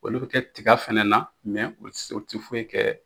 Wa olu bɛ kɛ tiga fana na u se u tɛ foyi kɛ